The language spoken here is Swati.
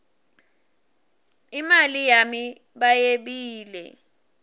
imali yami bayebile